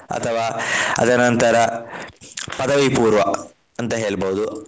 ಅಥವಾ ಅದರ ನಂತರ ಪದವಿಪೂರ್ವ ಅಂತ ಹೇಳ್ಬಹುದು.